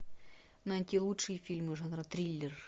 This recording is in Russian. найти лучшие фильмы жанра триллер